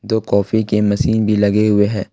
दो कॉफ़ी के मशीन भी लगे हुए हैं।